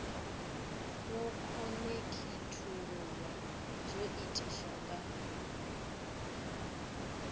wo khonekhithululwa zwo itiswa nga